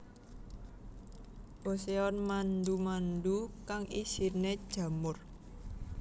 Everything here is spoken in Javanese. Boseon mandu mandu kang isine jamur